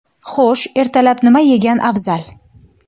Xo‘sh, ertalab nima yegan afzal?.